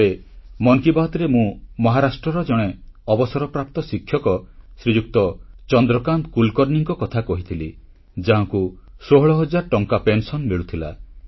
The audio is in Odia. ଥରେ ମନ୍ କି ବାତ୍ରେ ମୁଁ ମହାରାଷ୍ଟ୍ରର ଜଣେ ଅବସରପ୍ରାପ୍ତ ଶିକ୍ଷକ ଶ୍ରୀଯୁକ୍ତ ଚନ୍ଦ୍ରକାନ୍ତ କୁଲକର୍ଣ୍ଣିଙ୍କ କଥା କହିଥିଲି ଯାହାଙ୍କୁ 16 ହଜାର ଟଙ୍କା ପେନସନ୍ ମିଳୁଥିଲା